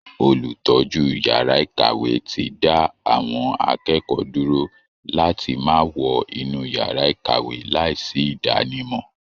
Olùtọ́jú yàrá ìkàwé ti dá àwọn akẹ́kọ̀ọ́ dúró láti máa wọ inú yàrá ìkàwé láìsí ìdánimọ̀